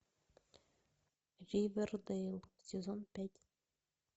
ривердэйл сезон пять